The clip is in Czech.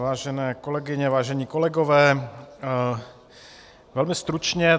Vážené kolegyně, vážení kolegové, velmi stručně.